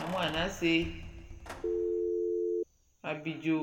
namʋ anase nʋ abidzo